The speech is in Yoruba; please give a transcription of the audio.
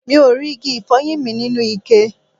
Mi ò rí igi ifoyin mi nínú ikẹ